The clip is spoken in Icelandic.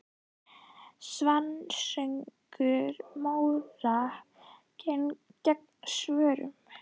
Svanasöngur Móra gegn Svönunum?